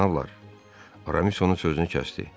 Cənablar, Aramis onun sözünü kəsdi.